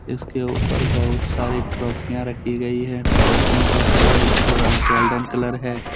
इसके ऊपर बहुत सारी ट्रॉफियां रखी गई है। ट्रॉफियों का कलर गोल्डन कलर है।